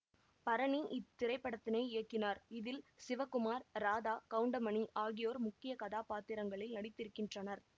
பரணி இத்திரைப்படத்தினை இயக்கினார் இதில் சிவகுமார் ராதா கவுண்டமணி ஆகியோர் முக்கிய கதாபாத்திரங்களில் நடித்திருக்கின்றனர்